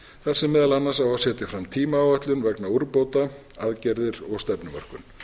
þar sem meðal annars á að setja fram tímaáætlun vegna úrbóta aðgerðir og stefnumörkun